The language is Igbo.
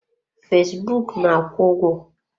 Fesbụụk na-akwụ ụgwọ.